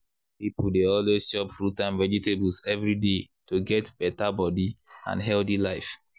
people dey always chop fruits and vegetables every day to get better body and healthy life.